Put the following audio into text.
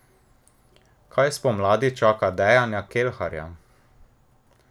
Kaj spomladi čaka Dejana Kelharja?